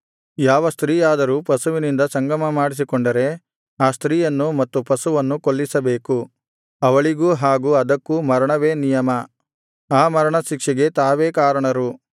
ಯಾವ ಸ್ತ್ರೀಯಾದರೂ ಪಶುವಿನಿಂದ ಸಂಗಮಮಾಡಿಸಿಕೊಂಡರೆ ಆ ಸ್ತ್ರೀಯನ್ನು ಮತ್ತು ಪಶುವನ್ನು ಕೊಲ್ಲಿಸಬೇಕು ಅವಳಿಗೂ ಹಾಗೂ ಅದಕ್ಕೂ ಮರಣವೇ ನಿಯಮ ಆ ಮರಣ ಶಿಕ್ಷೆಗೆ ತಾವೇ ಕಾರಣರು